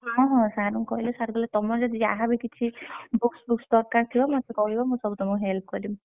ହଁ ହଁ sir କଣୁ କହିଲି sir କହିଲେ ତମର ଯଦି ଯାହା ବି କିଛି books fooks ଦରକାର ଥିବ ମତେ କହିବ ମୁଁ ସବୁ ତମକୁ help କରିବି।